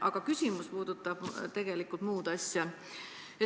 Aga küsimus puudutab tegelikult muud asja.